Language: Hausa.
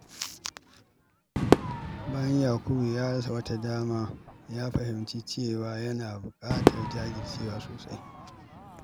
Bayan Yakubu ya rasa wata dama, ya fahimci cewa yana buƙatar jajircewa sosai.